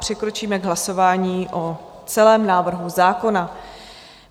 Přikročíme k hlasování o celém návrhu zákona.